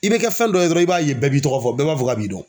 I bɛ kɛ fɛn dɔ ye dɔrɔn i b'a ye bɛɛ b'i tɔgɔ fɔ bɛɛ b'a fɔ k'a b'i dɔn.